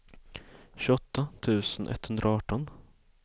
tjugoåtta tusen etthundraarton